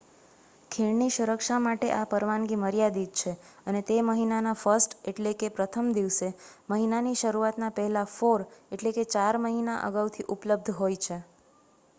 ખીણની સુરક્ષા માટે આ પરવાનગી મર્યાદિત છે અને તે મહિના ના 1 st એટલે કે પ્રથમ દિવસે મહિના ની શરૂઆત પહેલા four એટલે કે ચાર મહિના અગાઉ થી ઉપલ્બધ હોય છે